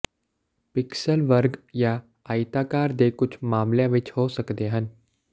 pixel ਵਰਗ ਜਾਂ ਆਇਤਾਕਾਰ ਦੇ ਕੁਝ ਮਾਮਲਿਆਂ ਵਿੱਚ ਹੋ ਸਕਦੇ ਹਨ